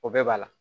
O bɛɛ b'a la